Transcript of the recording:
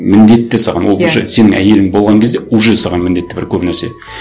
міндетті саған ол уже сенің әйелің болған кезде уже саған міндетті бір көп нәрсе